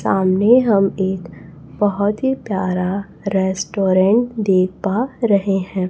सामने हम एक बहोत ही प्यारा रेस्टोरेंट देख पा रहे हैं।